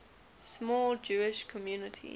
small jewish community